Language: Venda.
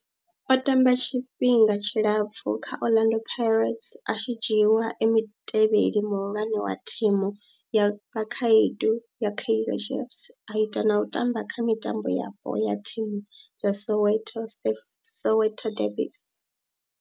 O tamba tshifhinga tshilapfhu kha Orlando Pirates, a tshi dzhiiwa e mutevheli muhulwane wa thimu ya vhakhaedu ya Kaizer Chiefs, a ita na u tamba kha mitambo yapo ya thimu dza Soweto, Soweto derbies.